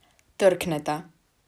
Trkneta.